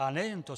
A nejen to.